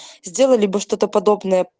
сделали бы что-то подобное